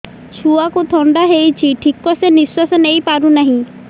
ଛୁଆକୁ ଥଣ୍ଡା ହେଇଛି ଠିକ ସେ ନିଶ୍ୱାସ ନେଇ ପାରୁ ନାହିଁ